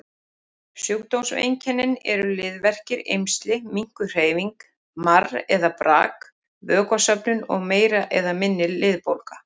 Sjúkdómseinkennin eru liðverkir, eymsli, minnkuð hreyfing, marr eða brak, vökvasöfnun og meiri eða minni liðbólga.